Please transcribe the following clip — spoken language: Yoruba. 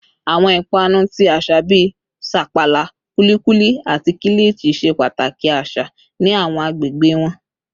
Awọn ipanu ti aṣa bii sapala, kulikuli, ati kilichi ṣe pataki aṣa ni awọn agbegbe wọn